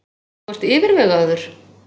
Þú ert yfirvegaður.